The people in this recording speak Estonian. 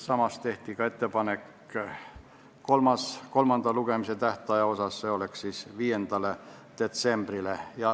Samas tehti ka ettepanek kolmanda lugemise tähtaja kohta, see oleks siis 5. detsembril.